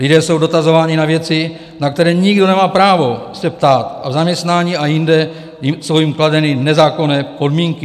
Lidé jsou dotazováni na věci, na které nikdo nemá právo se ptát, a v zaměstnání a jinde jsou jim kladeny nezákonné podmínky.